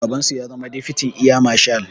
Babansu ya zama difiti eya mashal